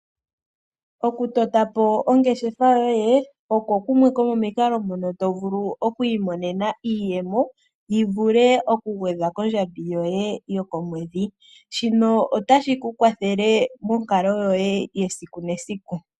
Okutotapo oongeshefa yoye oko kumwe komomikalo mono tovulu okwiimonena iiyemo yivule okugwedhwa kondjambi yoye yokomwedhi. Shino otashi ku kwathele monkalo yoye yesiku nesiku.